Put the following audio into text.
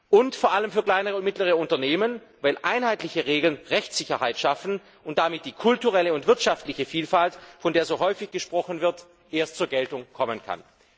und vor allem für kleine und mittlere Unternehmen, weil einheitliche Regeln Rechtssicherheit schaffen und damit die kulturelle und wirtschaftliche Vielfalt, von der so häufig gesprochen wird, erst zur Geltung kommen kann.